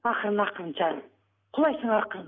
ақырын ақырын жаным құлайсың ақырын